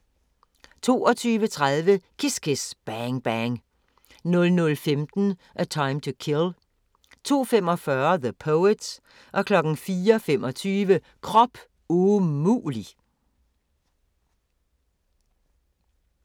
22:30: Kiss Kiss, Bang Bang 00:15: A Time to Kill 02:45: The Poet 04:25: Krop umulig!